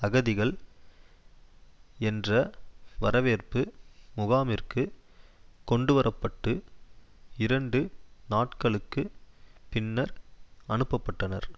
அகதிகள் என்ற வரவேற்பு முகாமிற்கு கொண்டுவர பட்டு இரண்டு நாட்களுக்கு பின்னர் அனுப்ப பட்டனர்